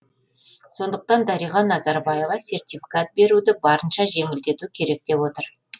сондықтан дариға назарбаева сертификат беруді барынша жеңілдету керек деп отыр